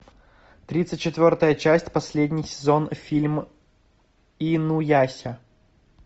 тридцать четвертая часть последний сезон фильм инуяся